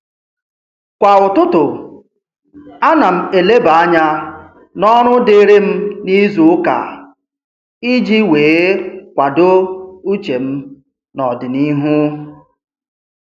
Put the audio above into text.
Kwa ụtụtụ, a na m eleba anya n'ọrụ dịrị m n'izuụka iji wee kwado uche m n'ọdịnihu